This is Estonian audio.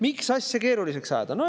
Miks asja keeruliseks ajada?